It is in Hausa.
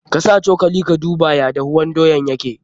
Ka sa cokali ka duba ya dahuwan doyan yake.